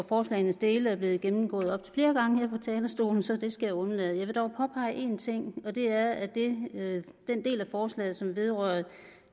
forslagenes dele er blevet gennemgået op til flere gange her fra talerstolen så det skal jeg undlade jeg vil dog påpege en ting og det er at den del af forslaget som vedrører